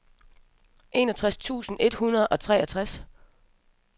enogtres tusind et hundrede og treogtres